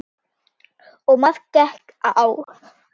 Og margt gekk á.